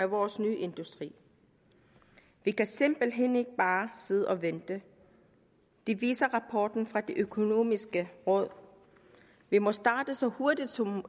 vores nye industri vi kan simpelthen ikke bare sidde og vente det viser rapporten fra det økonomiske råd vi må starte så hurtigt som